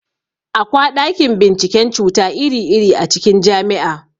Akwa ɗakin binciken cuta iri-iri a cikin jami'a.